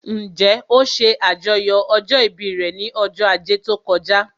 Njẹ́ ó ṣe àjọyọ̀ ọjọ́ ìbí rẹ̀ ní ọjọ́ ajé tó kọjá?